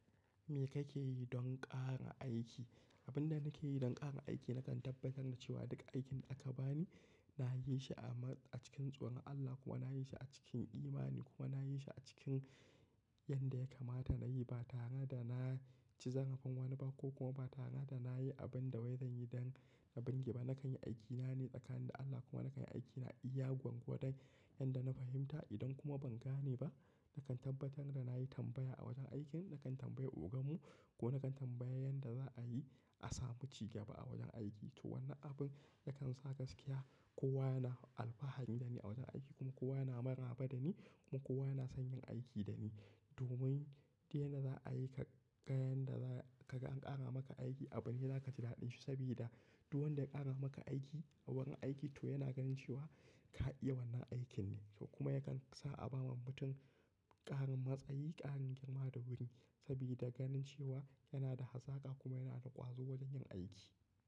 Me kake yi don ƙara aiki? Abin da nake yi don ƙara aiki nakan tabbatar da cewa duka aikin da aka bani na yi shi amma a cikin tsoron Allah kuma na yi shi a cikin imani kuma na yi shi a cikin yanda ya kamata na yi ba tare da na ci zarafin wani ba ko kuma ba tare da na yi abin da bai zan yi don na binge ba. Nakan yi aikina ne tsakanin da Allah kuma nakan yi aikina iya gwargwadon yanda na fahimta idan kuma ban gane ba, nakan tabbatar da na yi tambaya a wajen aikin, nakan tambayi ogan mu ko nakan tambayi yanda za a yi a samu cigaba a wajen aiki. To wannan abin yakan sa gaskiya kowa yana alfahari da ni a wajen aiki kuma kowa yana maraba da ni kuma kowa yana son yin aiki da ni. Domin idan za a yi ka ga yanda za ka ga an ƙara maka aiki abune da za ka ji daɗin shi sabida duk wanda ya ƙara maka aiki a wurin aiki to yana ganin cewa ka iya wannan aikin ne. To kuma yakan sa a ba wa mutum ƙarin matsayi, ƙarin girma da wuri sabida ganin cewa yana da hazaƙa kuma yana da ƙwazo wajen yin aiki.